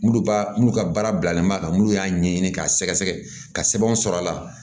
N'olu b'a n'u ka baara bilalen b'a kan minnu y'a ɲɛɲini k'a sɛgɛsɛgɛ ka sɛbɛnw sɔrɔ a la